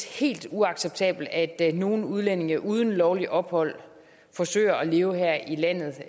helt uacceptabelt at nogle udlændinge uden lovligt ophold forsøger at leve her i landet